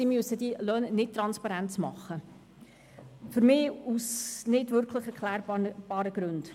Sie müssen die Löhne nicht transparent machen – für mich aus nicht wirklich erklärbaren Gründen.